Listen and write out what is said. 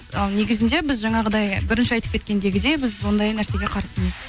ал негізінде біз жаңағыдай бірінші айтып кеткендегідей біз оңдай нәрсеге қарсымыз